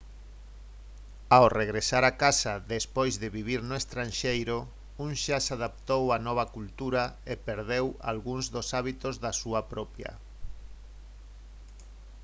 ao regresar a casa despois de vivir no estranxeiro un xa se adaptou á nova cultura e perdeu algúns dos hábitos da súa propia